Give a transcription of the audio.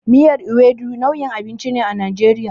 Miyar Ewedu nau'in abinci ne a Najeriya.